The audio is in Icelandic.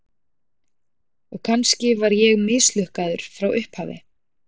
Og kannski var ég mislukkaður frá upphafi.